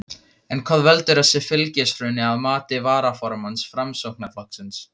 En hvað veldur þessu fylgishruni að mati varaformanns Framsóknarflokksins?